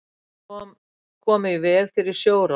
Komu í veg fyrir sjórán